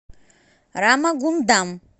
рамагундам